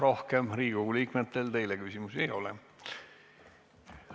Rohkem Riigikogu liikmetel teile küsimusi ei ole.